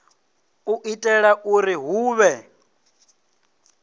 u itela uri hu vhe